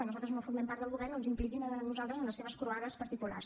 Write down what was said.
nosaltres no formem part del govern no ens impliquin a nosaltres en les seves croades particulars